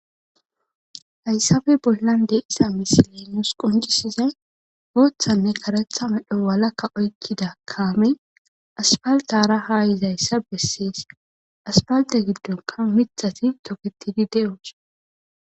Haysape bollan diza misilen nuus qoncisizaysi boothane karetha medho walaka oykida kaame asfaltera ha yizaysa beses asfalte gidonka mithati toketidi de'osona.